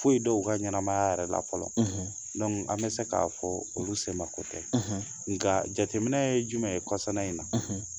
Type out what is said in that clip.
Foyi dɔn u ka ɲɛnamaya yɛrɛ la fɔlɔ, an bɛ se k'a fɔ olu semako tɛ, nka jateminɛ ye jumɛn ye kɔsana in na